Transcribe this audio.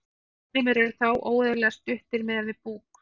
útlimir eru þá óeðlilega stuttir miðað við búk